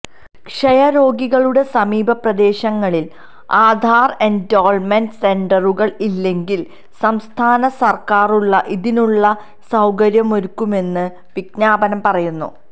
ക്ഷയ രോഗികളുടെ സമീപ പ്രദേശങ്ങളില് ആധാര് എന്റോള്മെന്റ് സെന്ററുകള് ഇല്ലെങ്കില് സംസ്ഥാന സര്ക്കാറുകള് ഇതിനായുള്ള സൌകര്യമൊരുക്കുമെന്നും വിജ്ഞാപനം പറയുന്നു